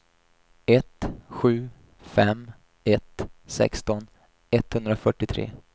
ett sju fem ett sexton etthundrafyrtiotre